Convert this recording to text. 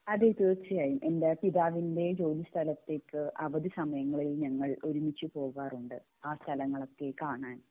അതെ തീർച്ചയായും എൻ്റെ പിതാവിൻ്റെ ജോലി സ്ഥലത്തേക്കു അവധി സമയങ്ങളിൽ ഞങ്ങൾ ഒരുമിച്ച് പോകാറുണ്ട് ആ സ്ഥലങ്ങളൊക്കെ കാണാൻ